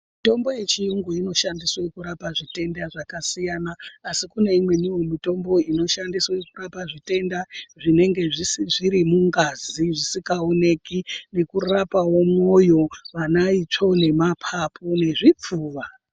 Mitombo yechiyungu inoshandiswe kurapa zvitenda zvakasiyana asi kune imweniwo mitombo inoshandiswe kurapa zvitenda zvinenge zviri mungazi zvisikaoneki, nekurapawo mwoyo, vana itsvo, nemapapu nezvipfuva.